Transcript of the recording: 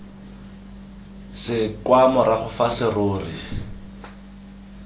se kwa morago fa serori